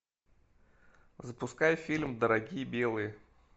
запускай фильм дорогие белые